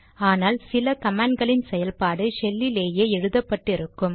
ஆனால் சில கமாண்ட் களின் செயல்பாடு ஷெல்லிலேயே எழுதப்பட்டு இருக்கும்